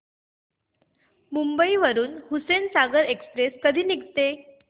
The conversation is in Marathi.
मुंबई वरून हुसेनसागर एक्सप्रेस कधी निघते